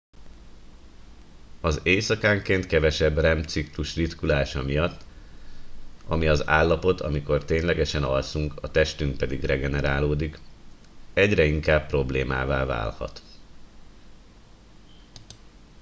az éjszakánként kevesebb rem ciklus ritkulása miatt ami az állapot amikor ténylegesen alszunk a testünk pedig regenerálódik egyre inkább problémává válhat